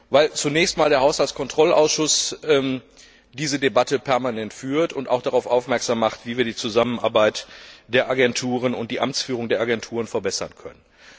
Weil zunächst einmal der Haushaltskontrollausschuss diese Debatte permanent führt und auch darauf aufmerksam macht, wie wir die Zusammenarbeit der Agenturen und deren Amtsführung verbessern können.